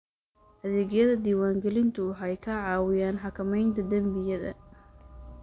Adeegyada diwaangelintu waxay ka caawiyaan xakamaynta dembiyada.